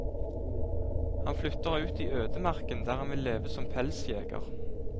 Han flytter ut i ødemarken der han vil leve som pelsjeger.